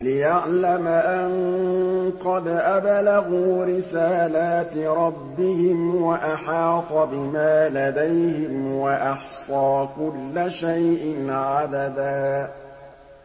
لِّيَعْلَمَ أَن قَدْ أَبْلَغُوا رِسَالَاتِ رَبِّهِمْ وَأَحَاطَ بِمَا لَدَيْهِمْ وَأَحْصَىٰ كُلَّ شَيْءٍ عَدَدًا